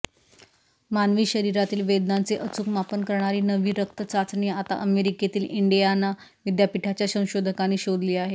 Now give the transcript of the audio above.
मानवी शरीरातील वेदनांचे अचूक मापन करणारी नवी रक्तचाचणी आता अमेरिकेतील इंडियाना विद्यापीठाच्या संशोधकांनी शोधली आहे